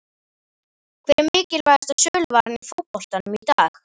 Hver er mikilvægasta söluvaran í fótboltanum í dag?